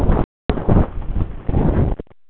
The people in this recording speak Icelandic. Þær þekktu vel huldufólkið í Einbúa og umgengust það.